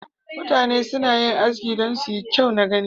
Mutane suna yin Aski don su yi kyau gani.